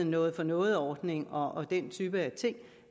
noget for noget ordningen og den type ting